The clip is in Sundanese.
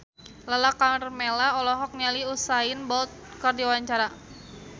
Lala Karmela olohok ningali Usain Bolt keur diwawancara